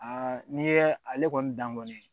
n'i ye ale kɔni dan kɔni